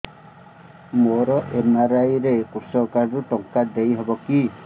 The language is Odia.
ମୋର ଏମ.ଆର.ଆଇ ରେ କୃଷକ କାର୍ଡ ରୁ ଟଙ୍କା ଦେଇ ହବ କି